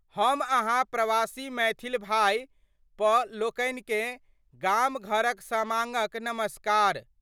हम अहाँ प्रवासी मैथिल भाइ प लोकनिकेँ गाम-घरक समाडक नमस्कार।